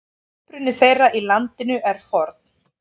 Uppruni þeirra í landinu er forn.